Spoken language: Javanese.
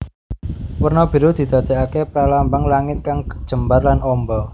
Werna biru didadekake pralambang langit kang jembar lan omba